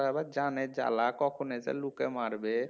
আবার জানের জ্বালা কখন এসে লোকে মারবে